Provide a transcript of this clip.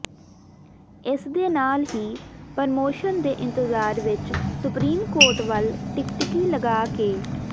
ਇਸਦੇ ਨਾਲ ਹੀ ਪ੍ਰਮੋਸ਼ਨ ਦੇ ਇੰਤਜਾਰ ਵਿੱਚ ਸੁਪਰੀਮ ਕੋਰਟ ਵੱਲ ਟਿਕਟਿਕੀ ਲਗਾ ਕੇ